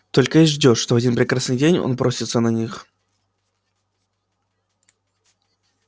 только и ждёшь что в один прекрасный день он бросится на них